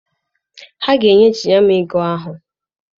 Ha ga-eweghachi ego ahụ.